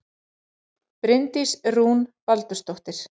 Bryndís Rún Baldursdóttir